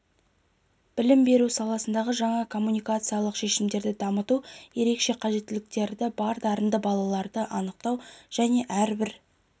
білім беру саласындағы жаңа коммуникациялық шешімдерді дамыту ерекше қажеттіліктері бар дарынды балаларды анықтау және әрбір